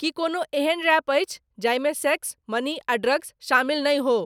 की कोनो एहन रैप अछि जाहि मे सेक्स मनी आ ड्रग्स शामिल नहि हो।